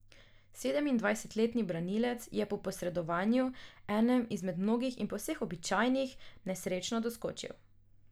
Sedemindvajstletni branilec je po posredovanju, enem izmed mnogih in povsem običajnih, nesrečno doskočil.